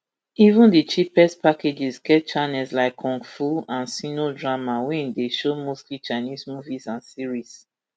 even di cheapest packages get channels like kung fu and sino drama wey dey show mostly chinese movies and series